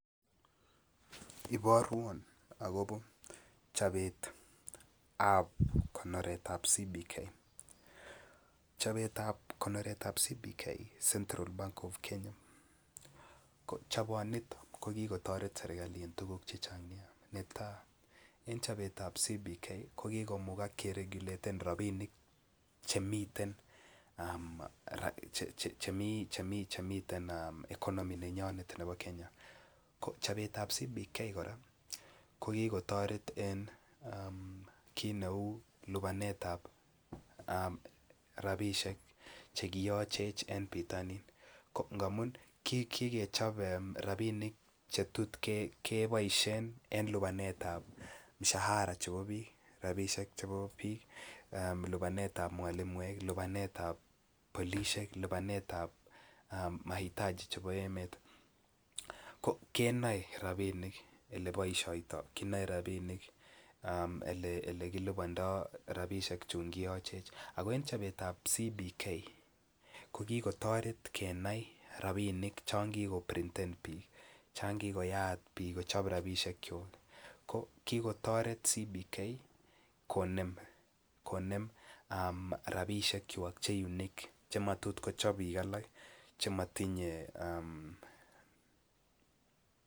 Iporwo agobo chobet ap konoret CBK chobetab konoret ab CBK central bank of kenya ko chobonito ko ki kotoret serkali en tuguk Che Chang Nia netai en chobetab ab CBK ko ki kotoret kereguleten rabisiek Che miten economy nenyon nebo Kenya chobetab CBK kora ko ki kotoret en kit neu lipanetap rabisiek Che kiyochech en bitonin amun ki kechob rabinik Che tot keboisie en lipanetap mshahara chebo bik kou lipanetap ab mwalimuek lipanetap polisiek lipanetap mahitaji chebo emet kenoi rabinik Ole boisioito Ole kilibandoi rabinik Chun kiyochech ako en chobetab CBK kotoret kenai rabinik chon kikiprinten anan chon ki koboisien bik kochob rabisiek kwak ko kitoret CBK konem rabisiek kwak Che matot kochob bik alak